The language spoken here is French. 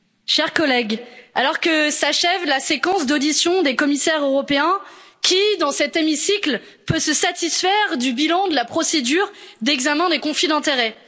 Monsieur le Président, chers collègues, alors que s'achève la séquence d'auditions des commissaires européens, qui, dans cet hémicycle, peut se satisfaire du bilan de la procédure d'examen des conflits d'intérêt?